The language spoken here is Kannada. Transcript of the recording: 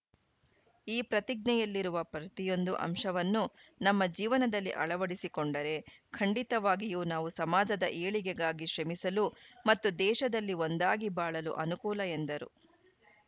ಈ ಪ್ರತಿಜ್ಞೆಯಲ್ಲಿರುವ ಪ್ರತಿಯೊಂದು ಅಂಶವನ್ನು ನಮ್ಮ ಜೀವನದಲ್ಲಿ ಅಳವಡಿಸಿಕೊಂಡರೆ ಖಂಡಿತವಾಗಿಯು ನಾವು ಸಮಾಜದ ಏಳಿಗೆಗಾಗಿ ಶ್ರಮಿಸಲು ಮತ್ತು ದೇಶದಲ್ಲಿ ಒಂದಾಗಿ ಬಾಳಲು ಅನುಕೂಲ ಎಂದರು